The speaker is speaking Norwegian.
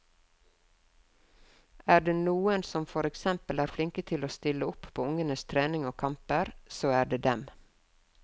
Er det noen som for eksempel er flinke til å stille opp på ungenes trening og kamper, så er det dem.